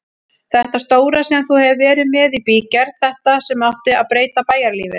Þetta stóra sem þú hefur verið með í bígerð, þetta sem átti að breyta bæjarlífinu.